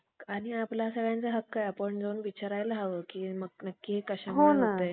दुसरे बळीराचे, ब्राम्हण धर्माची फजिती आता मात्र शिस्त आतामात्र शिकस्त झाली. कारण